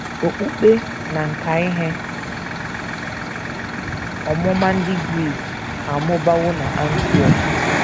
Okpukpe na nkà ihe ọmụma ndị Gris amụbawo n’Antiọk.